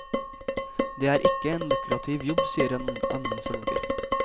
Det er ikke en lukrativ jobb, sier en annen selger.